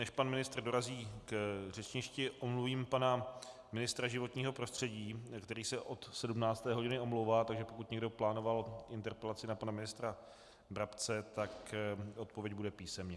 Než pan ministr dorazí k řečništi, omluvím pana ministra životního prostředí, který se od 17. hodiny omlouvá, takže pokud někdo plánoval interpelaci na pana ministra Brabce, tak odpověď bude písemně.